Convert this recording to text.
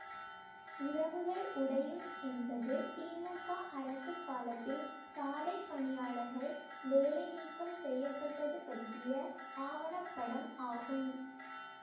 இரவுகள் உடையும் என்பது திமுக அரசுக் காலத்தில் சாலை பணியாளர்கள் வேலை நீக்கம் செய்ய பட்டது பற்றிய ஆவண படம் ஆகும்